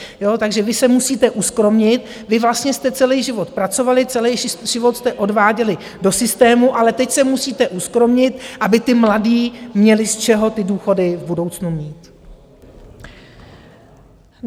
Takže vy se musíte uskromnit, vy vlastně jste celý život pracovali, celý život jste odváděli do systému, ale teď se musíte uskromnit, aby ti mladí měli z čeho ty důchody v budoucnu mít.